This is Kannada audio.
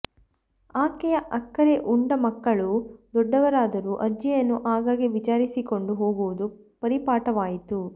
ಆಕೆಯ ಅಕ್ಕರೆ ಉಂಡ ಮಕ್ಕಳು ದೊಡ್ಡವರಾದರೂ ಅಜ್ಜಿಯನ್ನು ಆಗಾಗ್ಗೆ ವಿಚಾರಿಸಿಕೊಂಡು ಹೋಗುವುದು ಪರಿಪಾಠವಾಯಿತು